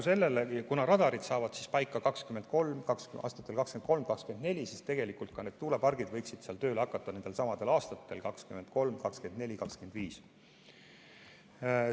Kuna radarid saavad paika aastatel 2023 ja 2024, siis ka tuulepargid võiksid seal tööle hakata nendelsamadel aastatel: 2023, 2024 või 2025.